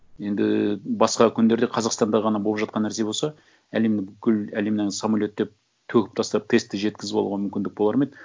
енді басқа күндерде қазақстанда ғана болып жатқан нәрсе болса әлемнің бүкіл әлемнен самолеттеп төгіп тастап тестті жеткізіп алуға мүмкіндік болар ма еді